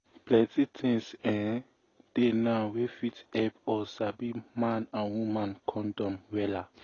plenty things[um]dey now wey fit help us sabi man and woman condom wella